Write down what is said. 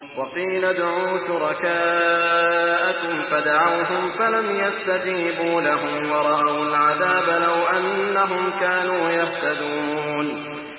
وَقِيلَ ادْعُوا شُرَكَاءَكُمْ فَدَعَوْهُمْ فَلَمْ يَسْتَجِيبُوا لَهُمْ وَرَأَوُا الْعَذَابَ ۚ لَوْ أَنَّهُمْ كَانُوا يَهْتَدُونَ